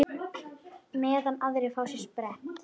Meðan aðrir fá sér sprett?